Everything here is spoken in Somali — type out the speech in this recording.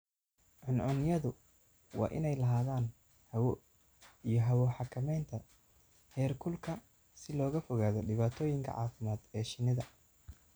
Cuncunyadu waa inay lahaadaan hawo iyo hawo-xakamaynta heerkulka si looga fogaado dhibaatooyinka caafimaad ee shinnida.